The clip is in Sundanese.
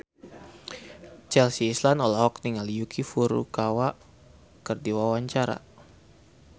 Chelsea Islan olohok ningali Yuki Furukawa keur diwawancara